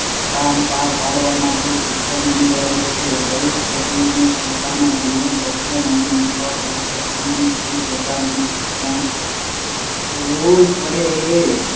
કામ પાર પાડવા માટે શિક્ષણ અનિવાર્ય છે. દરેક સજીવને પોતાના જીવન ભક્ષણ નિભાવ માટે કોઈની કોઈ પ્રકારની શિક્ષણ તો લેવીજ પડે છે.